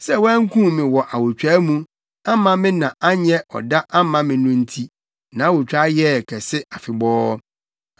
Sɛ wankum me wɔ awotwaa mu amma me na anyɛ ɔda amma me no nti, nʼawotwaa yɛɛ kɛse afebɔɔ.